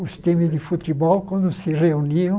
os times de futebol quando se reuniam.